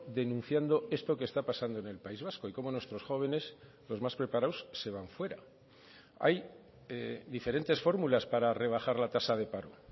denunciando esto que está pasando en el país vasco y cómo nuestros jóvenes los más preparados se van fuera hay diferentes fórmulas para rebajar la tasa de paro